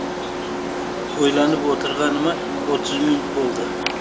ойланып отырғаныма отыз минут болды